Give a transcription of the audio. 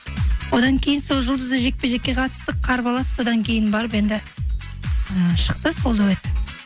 одан кейін сол жұлдызды жекпе жекке қатыстық қарбалас содан кейін барып енді і шықты сол дуэт